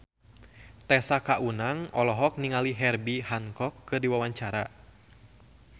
Tessa Kaunang olohok ningali Herbie Hancock keur diwawancara